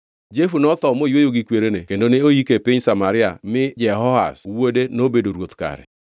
Jehu notho moyweyo gi kwerene kendo ne oike e piny Samaria mi Jehoahaz wuode nobedo ruoth kare.